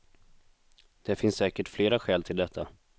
Det finns säkert flera skäl till detta.